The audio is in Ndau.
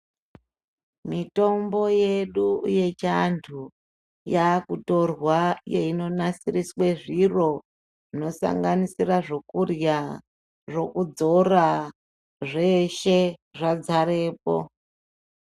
Mitombo yedu yechiandu yakutorwa yeindonasiriswe zviro zvinosanganisira zvokurya , zvokudzora zveshe zvadzarepo.